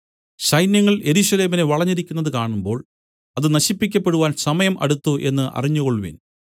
സൈന്യങ്ങൾ യെരൂശലേമിനെ വളഞ്ഞിരിക്കുന്നതു കാണുമ്പോൾ അത് നശിപ്പിക്കപ്പെടുവാൻ സമയം അടുത്തു എന്നു അറിഞ്ഞുകൊൾവിൻ